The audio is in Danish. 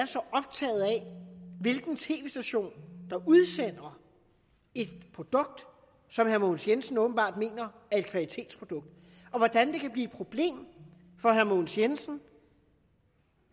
hvilken tv station der udsender et produkt som herre mogens jensen åbenbart mener er et kvalitetsprodukt og hvordan det kan blive et problem for herre mogens jensen